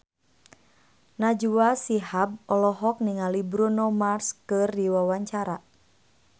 Najwa Shihab olohok ningali Bruno Mars keur diwawancara